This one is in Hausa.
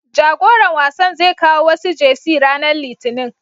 Jagoran wasan zai kawo wasu Jersey ranar Litinin.